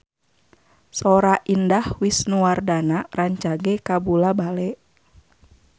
Sora Indah Wisnuwardana rancage kabula-bale